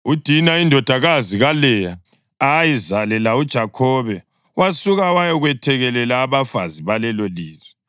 UDina, indodakazi kaLeya ayizalela uJakhobe wasuka wayakwethekelela abafazi balelolizwe.